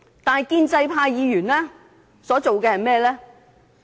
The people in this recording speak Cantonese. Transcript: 但是，建制派議員所做的是甚麼？